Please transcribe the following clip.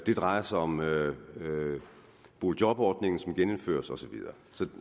det drejer sig om boligjobordningen som genindføres og